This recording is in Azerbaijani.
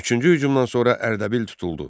Üçüncü hücumdan sonra Ərdəbil tutuldu.